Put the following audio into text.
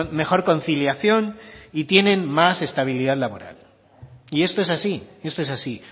mejor conciliación y tienen más estabilidad laboral y esto es así esto es así